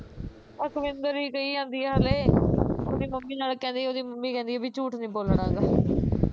ਅਕਵਿਂਦਰ ਈ ਕਹੀ ਜਾਂਦੀ ਐ ਹਲੇ ਉਹਦੀ ਮੰਮੀ ਨਾਲੈ ਕਹਿੰਦੀ ਉਹਦੀ ਮੰਮੀ ਕਹਿੰਦੀ ਵੀ ਝੂਠ ਨੀ ਬੋਲਣਾ ਗਾ